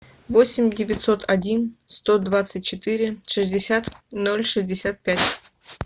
восемь девятьсот один сто двадцать четыре шестьдесят ноль шестьдесят пять